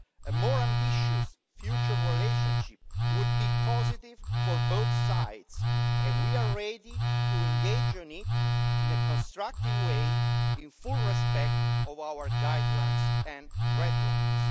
A more ambitious future relationship would be positive for both sides, and we are ready to engage in it in a constructive way in full respect of our guidelines and red lines.